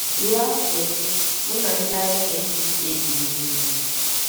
Ruo afọ ise, mụ na ndị agha NPA biri n'ugwu.